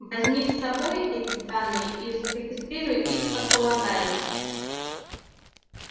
возьми с собой эти данные и зарегистрируй их как полагается